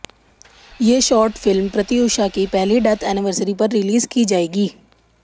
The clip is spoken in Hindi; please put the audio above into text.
ये शॉर्ट फिल्म प्रत्युषा की पहली डेथ एनिवर्सिरी पर रिलीज की जाएगी